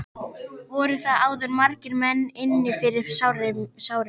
Voru þar áður margir menn inni fyrir sárir mjög.